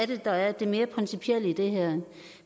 det er der er det mere principielle i det her